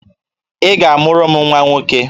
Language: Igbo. Ị ga-amụrụ m nwa nwoke!